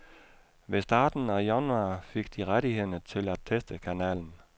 Ved starten i januar fik de rettighederne til at teste kanalen.